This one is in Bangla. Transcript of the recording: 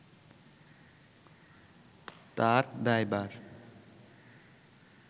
তার দায়ভার